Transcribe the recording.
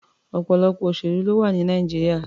Ọ̀pọ̀lọpọ̀ òṣèlú ló wà ní Nàìjíríà.